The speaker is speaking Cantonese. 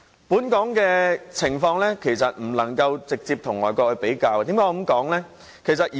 本港的情況不能直接與外國相比，為何我這樣說呢？